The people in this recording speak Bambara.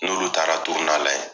N'olu taara la yen.